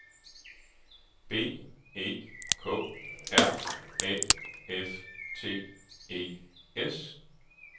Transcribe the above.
B E K R Æ F T E S